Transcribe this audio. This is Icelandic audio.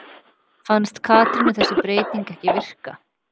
Fannst Katrínu þessi breyting ekki virka?